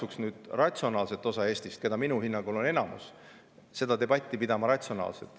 Ma kutsun nüüd ratsionaalset osa Eestist, kes minu hinnangul on enamuses, seda debatti pidama ratsionaalselt.